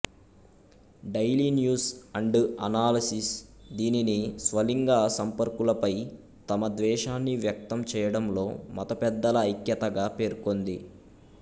daily News and Analysis దీనిని స్వలింగ సంపర్కులపై తమ ద్వేషాన్ని వ్యక్తం చేయడంలో మత పెద్దల ఐక్యతగా పేర్కొంది